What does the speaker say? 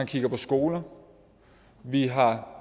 kigger på skoler vi har